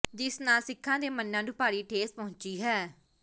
ਜਿਸ ਨਾਲ ਸਿੱਖਾਂ ਦੇ ਮਨ੍ਹਾਂ ਨੂੰ ਭਾਰੀ ਠੇਸ ਪਹੁੰਚੀ ਹੈ